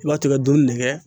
I b'a tobi ka dɔɔnin de kɛ.